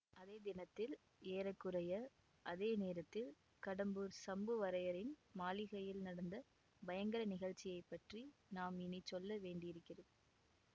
அதே தினத்தில் ஏற குறைய அதே நேரத்தில் கடம்பூர் சம்புவரையரின் மாளிகையில் நடந்த பயங்கர நிகழ்ச்சியை பற்றி நாம் இனிச் சொல்ல வேண்டியிருக்கிறது